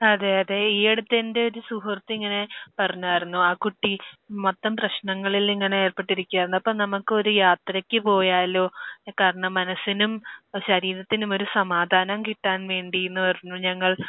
അതെ. അതെ. ഈ അടുത്ത് എന്റെയൊരു സുഹൃത്ത് ഇങ്ങനെ പറഞ്ഞായിരുന്നു. ആ കുട്ടി മൊത്തം പ്രശ്നങ്ങളിൽ ഇങ്ങനെ ഏർപ്പെട്ടിരിക്കുകയായിരുന്നു. അപ്പോൾ നമുക്കൊരു യാത്രയ്ക്ക് പോയാലോ കാരണം മനസ്സിനും ശരീരത്തിനും ഒരു സമാധാനം കിട്ടാൻ വേണ്ടി എന്ന് പറഞ്ഞു. ഞങ്ങൾ